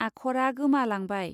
आखरा गोमालांबाय.